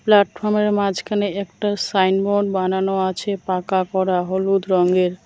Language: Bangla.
প্ল্যাটফর্মের মাঝখানে একটা সাইনবোর্ড বানানো আছে পাকা করা হলুদ রঙের।